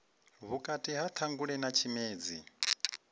vhukati ha ṱhangule na tshimedzi